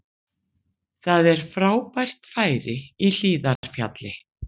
Það er frábært færi í Hlíðarfjalli